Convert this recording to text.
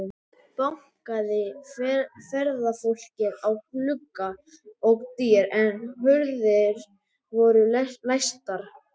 Bankaði ferðafólkið á glugga og dyr, en hurðir voru læstar.